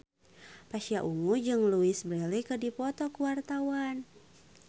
Pasha Ungu jeung Louise Brealey keur dipoto ku wartawan